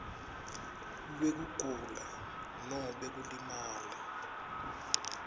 lwekugula nobe kulimala